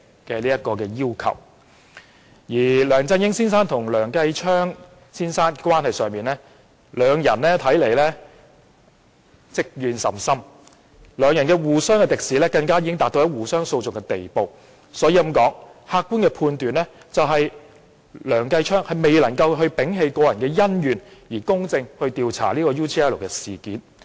就梁振英先生和梁繼昌先生的關係而言，兩人似乎積怨甚深，互相敵視已達到互相興訟的程度，所以客觀的判斷是梁繼昌議員難以摒棄個人恩怨而公正地調查 UGL 事件。